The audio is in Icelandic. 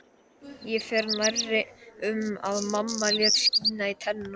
Ég fer nærri um að mamma lét skína í tennurnar